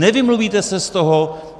Nevymluvíte se z toho.